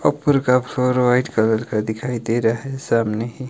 ऊपर का floor white colour का दिखाई दे रहा है सामने ही--